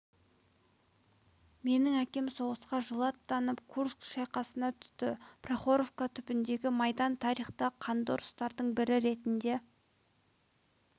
менің әкем соғысқа жылы аттанып курск шайқасына түсті прохоровка түбіндегі майдан тарихта қанды ұрыстардың бірі ретінде